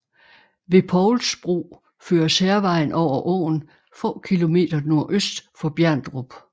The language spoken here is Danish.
Ved Povls Bro føres Hærvejen over åen få km nordøst for Bjerndrup